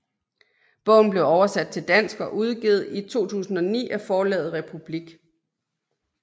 Bogen blev oversat til dansk og udgivet i 2009 af Forlaget Republik